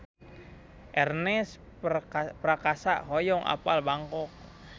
Ernest Prakasa hoyong apal Bangkok